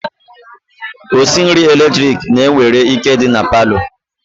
Osinri eletrik na nwere ike idi na parlour.